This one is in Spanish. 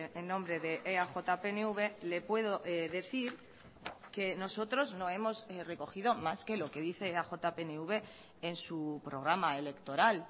en nombre de eaj pnv le puedo decir que nosotros no hemos recogido más que lo que dice eaj pnv en su programa electoral